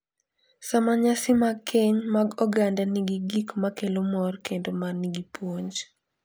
Sama nyasi mag keny mag oganda nigi gik ma kelo mor kendo ma nigi puonj,